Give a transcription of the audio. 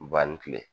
Ba ni tile